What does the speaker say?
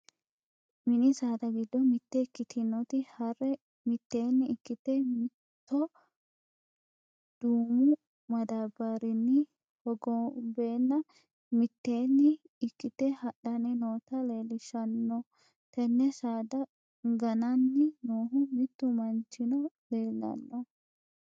mini saada giddo mitte ikkitinoti harre mitteenni ikkite, mitoho duumu madaabbarinni hogonbeenna mitteenni ikkite hadhanni noota leellishshanno, tenne saada gananni noohu mittu manchino leellanno.